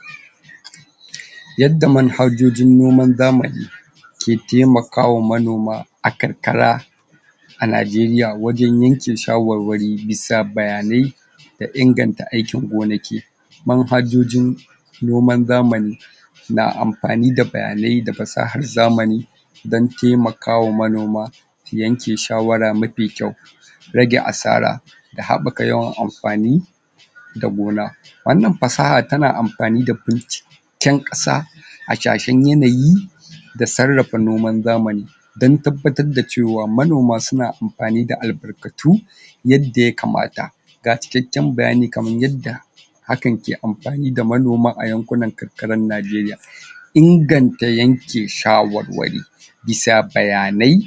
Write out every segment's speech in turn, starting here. ? Yadda manhajojin noman zamani ke taimakawa manoma a karkara. A Nigeria wajen yanke shawarwari bisa bayanai da inganta aikin gona keyi, manhajojin noman zamani, na amfani da bayanai da fasahar zamani don taimakawa manoma su yanke shawara mafi kyau rage asara, da haɓaka yawan amfani da gona. wannan fasaha ta na amfani da binciken ƙasa, hasashen yanayi, da sarrafa noman zamani don tabbatar da ce wa manoma su na amfani da albarkatu yadda yakamata. Ga cikakken bayani kamar yadda hakan ke amfani da manoma a yankunan karkarar Nigeria. Inganta yanke shawarwari bisa bayanai,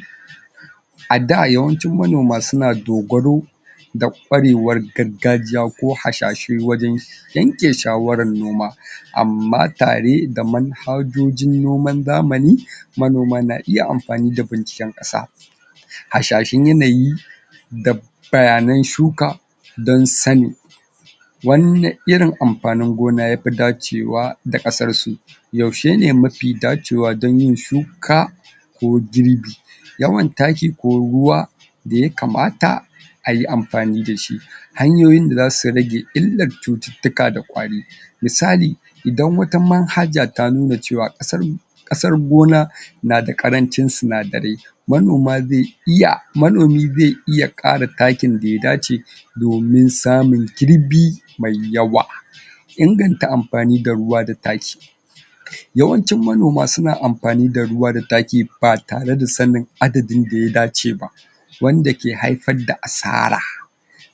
a da yawancin manoma su na dogaro da ƙwarewar gargajiya ko hasashen wajen yanke shawarar noma, amma tare da manhajojin noman zamani, manoma na iya amfani da binciken ƙasa, hasashen yanayi da bayanan shuka don sanin wane irin amfanin gona ya fi dacewa da ƙasarsu, yaushe ne mafi dacewa don yin shuka ko girbi, yawan taki ko ruwa da ya kamata ayi amfani da shi. Hanyoyin da za su rage illar cututtuka da ƙwari misali: Idan wata manhaja ta nu na ce wa ƙasar ƙasar gona na da ƙarancin sinadarai manomi zai iya manomi zai iya ƙara takin da ya dace domin samun girbi mai yawa. Inganta amfani da ruwa da taki, yawancin manoma su na amfani da ruwa da taki ba tare da sanin adadin da ya dace ba wanda ke haifar da asara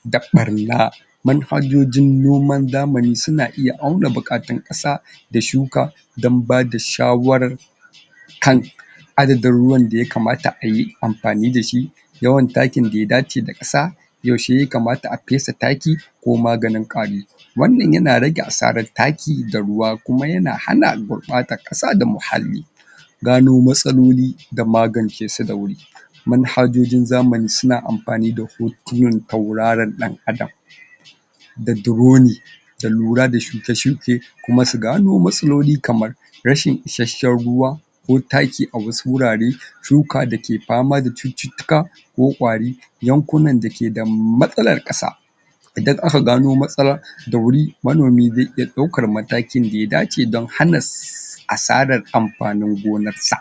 da ɓarna, manhajojin noman zamani su na iya auna buƙatar ƙasa da shuka don bada shawarar? adadin ruwan da yakamata ayi amfani da shi, yawan takin da ya dace ka sa, yaushe yakamata a fesa taki, ko maganin ƙwari, wannan ya na rage asarar taki da ruwa, kuma ya na hana gurɓatar ƙasa da muhalli, gano matsaloli da magance su da wur. Manhajojin zamani su na amfani da hutirin tauraron ɗan adam da duroni, da lura da shke-shuke, kuma su gano matsaloli kamar: Rashin isashshen ruwa ko taki a wasu wurare, shuka da ke fama da cututtuka ko ƙwari, yankunan da keda matsalar ƙasa, idan aka gano matsalar da wuri, manomi zai iya ɗaukar matakin da ya dace don hana asarar amfanin gonarsa.